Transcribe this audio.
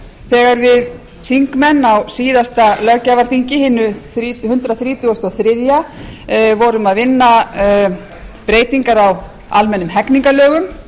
þegar við þingmenn á síðasta löggjafarþingi hinu hundrað þrítugasta og þriðja vorum að vinna breytingar á almennum hegningarlögum